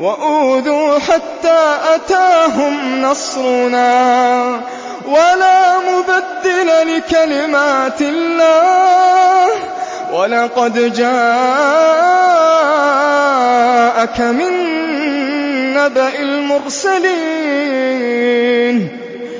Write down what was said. وَأُوذُوا حَتَّىٰ أَتَاهُمْ نَصْرُنَا ۚ وَلَا مُبَدِّلَ لِكَلِمَاتِ اللَّهِ ۚ وَلَقَدْ جَاءَكَ مِن نَّبَإِ الْمُرْسَلِينَ